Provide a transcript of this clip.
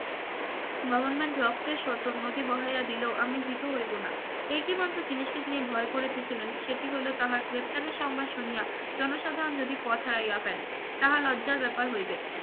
government রক্তের শত নদী বহিয়া দিলেও আমি ভীত হইব না একইমাত্র জিনিসকে তিনি ভয় করতে ছিলেন সেটি হল তাহার গ্রেফতারের সংবাদ শুনিয়া জনসাধারণ যদি পথ হারাইয়া ফেলে তাহলে লজ্জার ব্যাপার হইবে